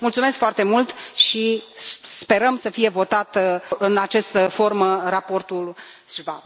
Mulțumesc foarte mult și sperăm să fie votat în această formă raportul Schwab.